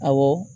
Awɔ